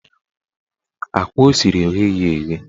Akwa o siri egheghi eghe